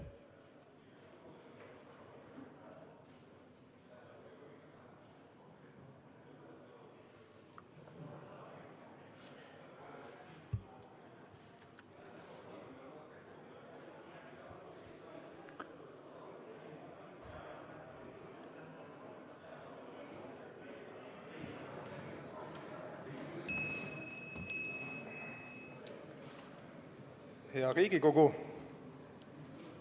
Hea Riigikogu!